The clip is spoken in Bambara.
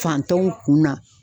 Fantanw kun na.